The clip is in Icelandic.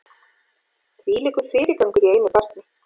Þvílíkur fyrirgangur í einu barni